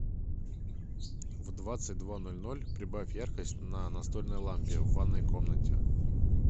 в двадцать два ноль ноль прибавь яркость на настольной лампе в ванной комнате